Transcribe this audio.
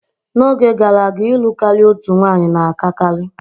N'oge gara aga, ịlụ karịa otu nwanyị na-akakarị.